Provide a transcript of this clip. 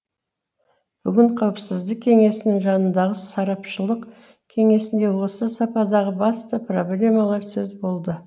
бүгін қауіпсіздік кеңесінің жанындағы сарапшылық кеңесінде осы саладағы басты проблемалар сөз болды